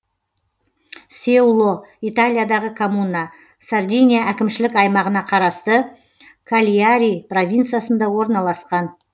сеуло италиядағы коммуна сардиния әкімшілік аймағына қарасты кальяри провинциясында орналасқан